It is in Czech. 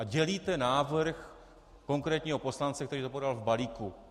A dělíte návrh konkrétního poslance, který ho podal v balíku.